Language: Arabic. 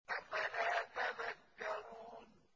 أَفَلَا تَذَكَّرُونَ